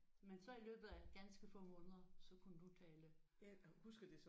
Men så i løbet af ganske få måneder så kunne du tale?